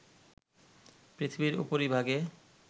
পৃথিবীর উপরিভাগে